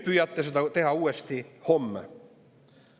Püüate seda uuesti teha homme.